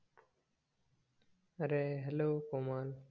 अरे हॅलो कोमल